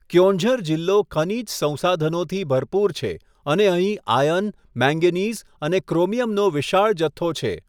ક્યોંઝર જિલ્લો ખનીજ સંસાધનોથી ભરપૂર છે અને અહીં આયર્ન, મેંગેનીઝ અને ક્રોમિયમનો વિશાળ જથ્થો છે.